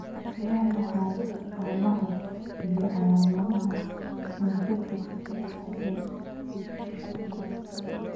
Waa maxay astaamaha iyo calaamadaha Brachydactyly A shan?